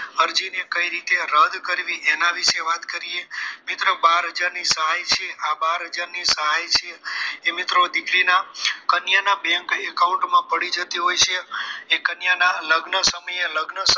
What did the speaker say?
અરજીને કઈ રીતે રદ કરવી એના વિશે વાત કરીએ મિત્રો બાર હજાર ની સહાય છે આ બાર હજાર ની સહાય છે એ મિત્રો દીકરીના કન્યાના bank account મા પડી જતી હોય છે એ કન્યાના લગ્ન સમયે લગ્ન